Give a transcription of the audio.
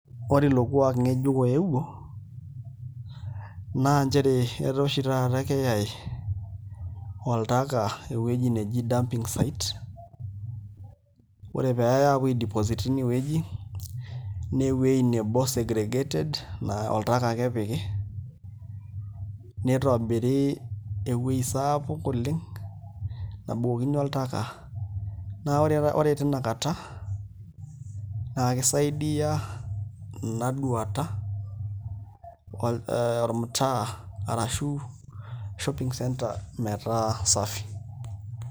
Ore ilo kuaak ng'ejuk ooeuo naa nchere etaa oshi taata keyaai oltaka ewueji neji dumping site ore pee eyaai aapuo aideposite tine wueji naa ewueji nebo segregated naa oltaka ake epiki nitobiri ewueji sapuk oleng' nabukokini oltaka naa ore tina kata naa kisaidia ina duata ormtaa ashu shopping centre metaa safi.